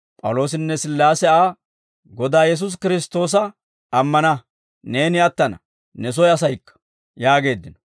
P'awuloosinne Sillaase Aa, «Godaa Yesuusi Kiristtoosa ammana; neeni attana; ne soy asaykka» yaageeddino.